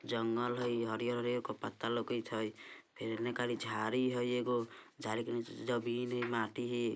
जंगल हई हरियर हरियर एको पत्ता लोकत हई फिर एन्ने करी झारी हई एगो झारी के नीचे जमीन हई माटी हई।